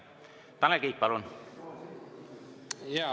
Tanel Kiik, palun!